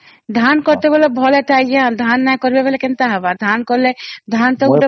ଧାନ କେତେବଳେ ଭଲ ଥାଇ ଧାନ ନାଇଁ କରିବରେ କେନ୍ତା ହେବ ଧାନ କଲେ ଧାନ ତ ଗୋଟେ